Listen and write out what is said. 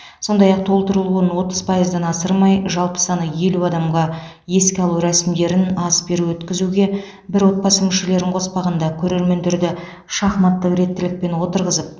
сондай ақ толтырылуын отыз пайыздан асырмай жалпы саны елу адамға еске алу рәсімдерін ас беру өткізуге бір отбасы мүшелерін қоспағанда көрермендерді шахматтық реттілікпен отырғызып